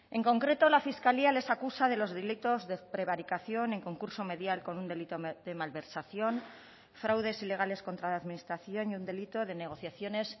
en concreto la fiscalía les acusa de los delitos de prevaricación en concurso medial con un delito de malversación fraudes ilegales contra la administración y un delito de negociaciones